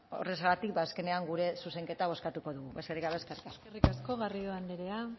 horrexegatik azkenean gure zuzenketa bozkatuko dugu besterik gabe eskerrik asko eskerrik asko garrido anderea